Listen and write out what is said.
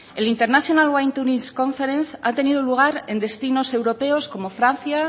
el international wine tourism conference ha tenido lugar en países europeos como francia